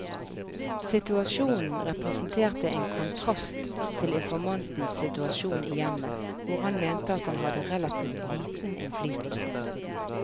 Situasjonen representerte en kontrast til informantens situasjon i hjemmet, hvor han mente at han hadde relativt liten innflytelse.